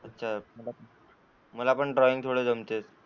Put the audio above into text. अच्छा मला पण थोडा ड्रॉईंग थोडे जमतंय.